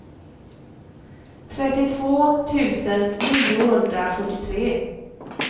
trettiotvå tusen niohundrafyrtiotre